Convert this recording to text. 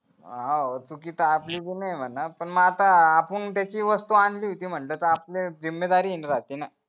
हां चुकी तर आपली पण आहे म्हणा पण मग आता आपण त्याची वस्तू आणली होती म्हणलं तर आपली राहती ना